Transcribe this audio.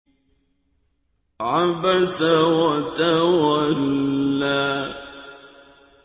عَبَسَ وَتَوَلَّىٰ